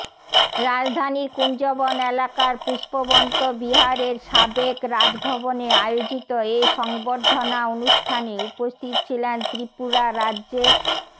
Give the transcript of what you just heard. রাজধানীর কুঞ্জবন এলাকার পুষ্পবন্ত বিহারের সাবেক রাজভবনে আয়োজিত এ সংবর্ধনা অনুষ্ঠানে উপস্থিত ছিলেন ত্রিপুরা রাজ্যের